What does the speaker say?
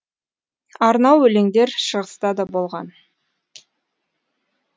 арнау өлеңдер шығыста да болған